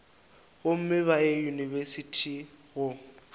gomme ba ye diyunibesithi go